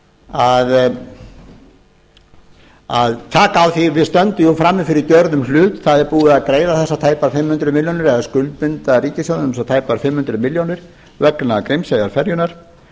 að taka á því að við stöndum jú frammi fyrir gjörðum hlut það er búið að greiða þessar tæpar fimm hundruð milljónir eða skuldbinda ríkissjóð um þessar tæpu fimm hundruð milljónir vegna grímseyjarferjunnar